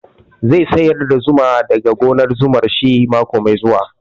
Zai sayar da zuma da ga gonar zuman shi mako mai zuwa